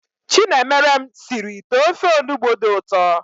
Chinemerem sịrị ite ofe Onugbu dị ụtọ